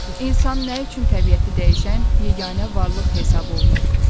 İnsan nə üçün təbiəti dəyişən yeganə varlıq hesab olunur?